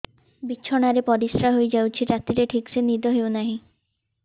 ବିଛଣା ରେ ପରିଶ୍ରା ହେଇ ଯାଉଛି ରାତିରେ ଠିକ ସେ ନିଦ ହେଉନାହିଁ